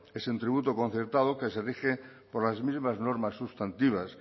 es un tributo concertado que se rige por las mismas normas sustantivas